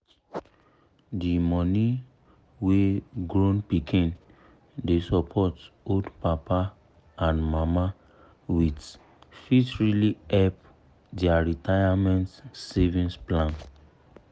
the money wey grown pikin dey support old papa and mama with fit really help their retirement savings plan.